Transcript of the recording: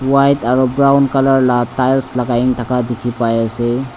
white aro brown colour la tiles lakai na thaka dikhipaiase.